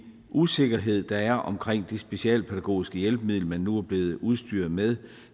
usikkerhed der er omkring det specialpædagogiske hjælpemiddel men nu er blevet udstyret med